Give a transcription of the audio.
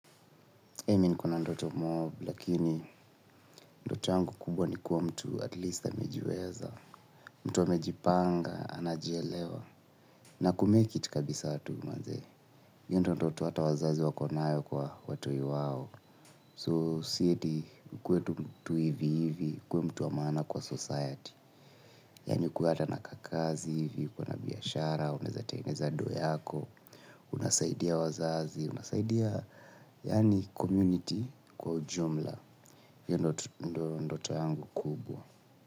Mimi ni kuna ndoto mobu, lakini ndoto yangu kubwa ni kuwa mtu at least amejiweza. Mtu amejipanga, anajielewa. Na kumake it kabisa tu manze. Hiyo ndo ndoto hata wazazi wako nayo kwa watoi wao. So, si ati, ukuwe tu mtu hivi hivi, kuwe mtu wa maana kwa society. Yani kuwata na kakazi hivi, kuwana biyashara, uneza tengeza do yako. Unasaidia wazazi, unasaidia, yani, community kwa ujumla. Hiyo ndo ndoto yangu kubwa.